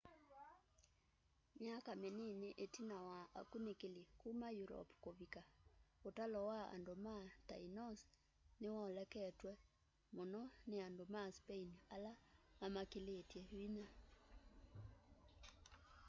myaka minini itina wa akunikili kuma europe kuvika utalo wa andu ma tainos ni woleketwe muno ni andu ma spain ala mamakĩlilye vinya